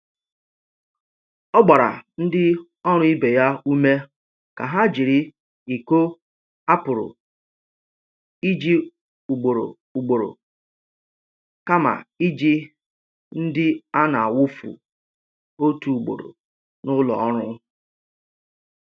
Ọ gbara ndị ọrụ ibe ya ume ka ha jiri iko a pụrụ iji ugboro ugboro kama iji ndị a na-awụfu otu ugboro n’ụlọ ọrụ.